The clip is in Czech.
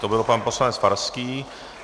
To byl pan poslanec Farský.